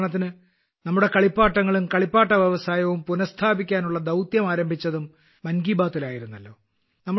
ഉദാഹരണത്തിന് നമ്മുടെ കളിപ്പാട്ടങ്ങളും കളിപ്പാട്ട വ്യവസായവും പുനസ്ഥാപിക്കാനുള്ള ദൌത്യം ആരംഭിച്ചതും മൻ കി ബാത്തിൽ ആയിരുന്നല്ലോ